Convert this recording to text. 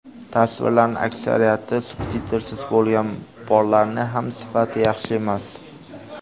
Tasvirlarning aksariyati subtitrsiz bo‘lgan, borlarining ham sifati yaxshi emas.